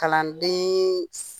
Kalanden